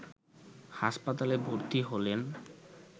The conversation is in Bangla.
হাসপাতালে ভর্তি হলেন